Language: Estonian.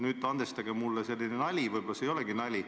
Nüüd andestage mulle selline nali, aga võib-olla see ei olegi nali.